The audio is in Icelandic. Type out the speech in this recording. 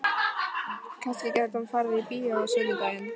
Kannski gæti hann farið í bíó á sunnudaginn?